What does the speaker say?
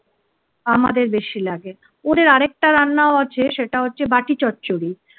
আমাদের বেশি লাগে ওদের আরেকটা রান্নাও আছে সেটা হচ্ছে বাটি চচ্চড়ি।